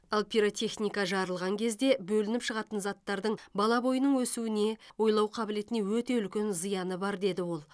ал пиротехника жарылған кезде бөлініп шығатын заттардың бала бойының өсуіне ойлау қабілетіне өте үлкен зияны бар деді ол